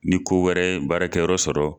Ni ko wɛrɛ ye baarakɛ yɔrɔ sɔrɔ